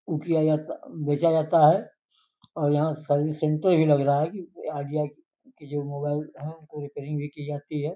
ओ किया जाता बेचा जाता है और यहाँ सर्विस सेंटर ही लग रहा है कि आईडिया के जो मोबाइल है उनको रिपेयरिंग भी की जाती है।